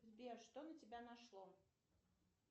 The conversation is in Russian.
сбер что на тебя нашло